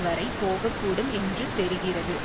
வரை போக கூடும் என்று தெரிகிறது